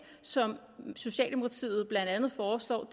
som socialdemokratiet blandt andet foreslår